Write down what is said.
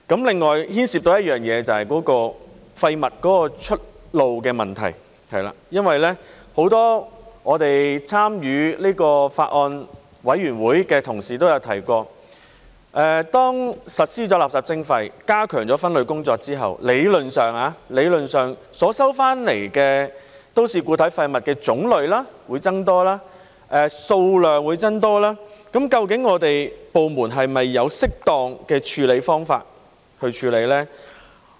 另外牽涉的就是廢物出路的問題，因為很多參與這個法案委員會的同事都曾提出，當實施垃圾徵費，加強分類工作之後，理論上收回的都市固體廢物種類會增多，數量也會增多，究竟部門是否有適當的方法去處理呢？